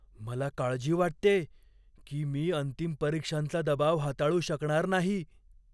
मला काळजी वाटतेय की मी अंतिम परीक्षांचा दबाव हाताळू शकणार नाही.